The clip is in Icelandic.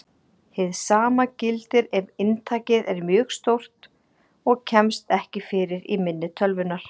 Hið sama gildir ef inntakið er mjög stórt og kemst ekki fyrir í minni tölvunnar.